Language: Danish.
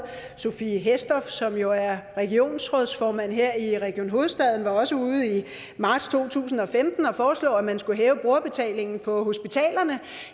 sophie hæstorp andersen som jo er regionsrådsformand her i region hovedstaden var også ude i marts to tusind og femten at foreslå at man skulle hæve brugerbetalingen på hospitalerne